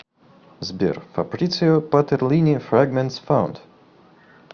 сбер фабрицио патерлини фрэгментс фаунд